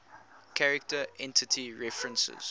character entity references